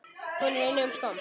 Hún er í nýjum skóm.